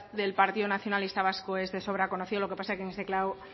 del partido nacionalista vasco es de sobra conocido los que pasa es que en este